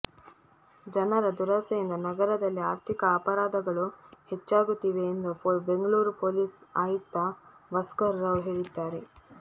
ಜನರ ದುರಾಸೆಯಿಂದ ನಗರದಲ್ಲಿ ಆರ್ಥಿಕ ಅಪರಾಧಗಳು ಹೆಚ್ಚಾಗುತ್ತಿವೆ ಎಂದು ಬೆಂಗಳೂರು ಪೊಲೀಸ್ ಆಯುಕ್ತ ಭಾಸ್ಕರ್ ರಾವ್ ಹೇಳಿದ್ದಾರೆ